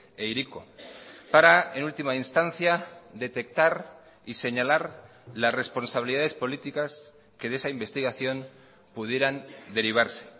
e hiriko para en última instancia detectar y señalar las responsabilidades políticas que de esa investigación pudieran derivarse